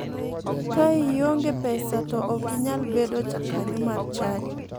Ka ionge pesa to ok inyal bedo ja kanyo mar chadi .